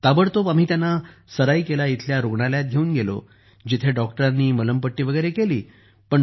ताबडतोब आम्ही त्यांना सराईकेला इथल्या सदर रूग्णालयात घेऊन गेलो जेथे डॉक्टरांनी त्यांना मलमपट्टी केली